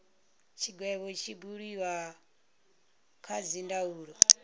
tshigwevho tshi do buliwa kha dzindaulo